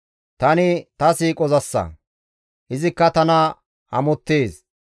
Tani ta siiqozassa; izikka tana amottees.